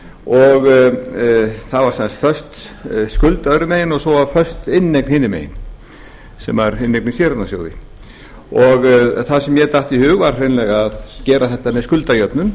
og það var sem sagt föst skuld öðrum megin og svo föst inneign hinum megin sem var inneign í séreignarsjóði þar sem mér datt í hug að hreinlega gera þetta með skuldajöfnun